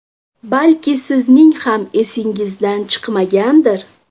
Balki sizning ham esingizdan chiqmagandir?